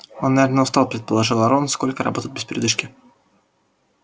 он наверное устал предположил рон столько работать без передышки